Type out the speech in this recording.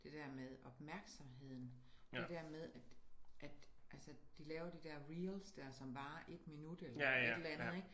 Det dér med opmærksomheden det dér med at at altså de laver de dér reels dér som varer 1 minut eller et eller andet ik